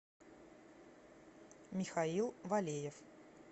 михаил валеев